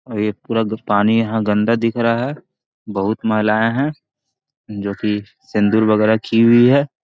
और ये पूरा पानी यहाँ गंदा दिख रहा है | बहुत महिलाए हैं जो की सिंदूर वगेरा की हुई है |